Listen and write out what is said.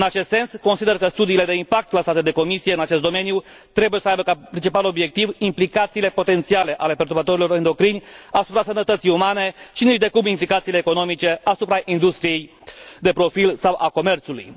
În acest sens, consider că studiile de impact lansate de Comisie în acest domeniu trebuie să aibă ca principal obiectiv implicațiile potențiale ale perturbatorilor endocrini asupra sănătății umane și nicidecum implicațiile economice asupra industriei de profil sau a comerțului.